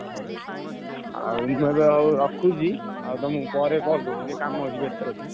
ହଉ ଆଉ ମୁଁ ଏବେ ହଉ ରଖୁଛି ଆଉ ତମୁକୁ ପରେ call କରୁଚି ଟିକେ କାମ ଅଛି। ବେସ୍ତ ଅଛି।